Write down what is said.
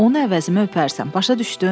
Onu əvəzimə öpərsən, başa düşdün?